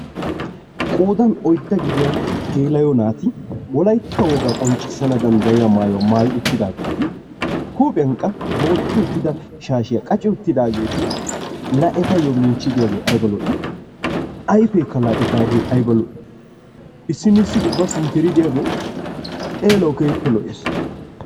Qoodan oyidda gidiya geela'o naati wolayitta wogaa qonccissana danddayiya mayuwa mayi uttidaageeti huuphiyan qa booxxi uttida shaashiya qaci uttidaageeti laa etayyoo michchi de'iyagee ayiba lo'i! Ayifeekka etaagee ayiba lo'i! Issinnissi ubba sinttiri diyagee xeelawu keehippe lo'ees.